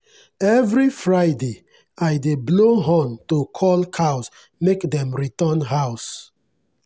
every friday i dey blow horn to call cows make dem return house.